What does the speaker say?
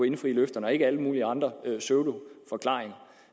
indfri løfterne og ikke alle mulige andre pseudoforklaringer